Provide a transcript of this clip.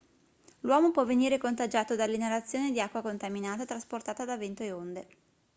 l'uomo può venire contagiato dall'inalazione di acqua contaminata trasportata da vento e onde